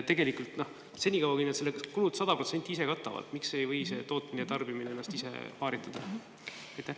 Tegelikult, senikaua, kui nad need kulud 100% ise katavad, võiks see tootmine ja tarbimine.